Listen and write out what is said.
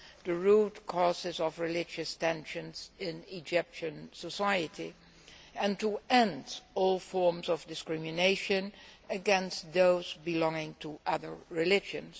the root causes of religious tensions in Egyptian society and to end all forms of discrimination against those belonging to other religions.